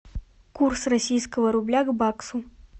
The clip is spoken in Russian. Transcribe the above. курс российского рубля к баксу